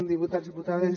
diputats diputades